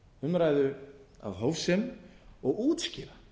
umræðu af hófsemi og útskýra